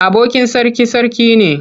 Abokin sarki sarki ne.